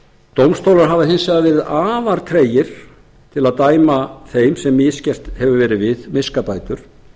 dómstólar hafa hins vegar verið afar tregir til að dæma þeim sem misgert hefur verið við miskabætur